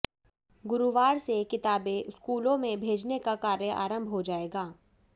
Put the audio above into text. गुरुवार से किताबें स्कूलों में भेजने का कार्य आरंभ हो जाएगा